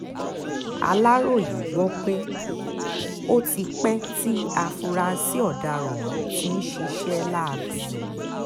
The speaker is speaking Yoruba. aláròye gbọ́ pé ó ti pẹ́ tí afurasí ọ̀daràn ohun tí ń ṣiṣẹ́ láabi ọ̀hún